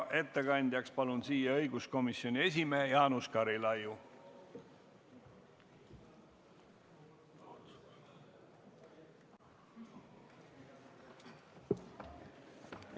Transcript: Ettekandjaks palun õiguskomisjoni esimehe Jaanus Karilaiu!